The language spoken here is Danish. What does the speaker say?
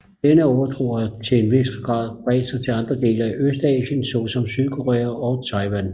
Denne overtro har til en vis grad bredt sig til andre dele af Østasien såsom Sydkorea og Taiwan